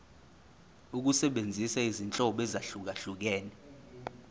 ukusebenzisa izinhlobo ezahlukehlukene